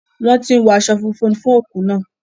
Wọ́n tí ń wọ aṣọ funfun fún òkú náà.